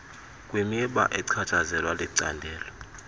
kwimiba echatshazelwa licandelo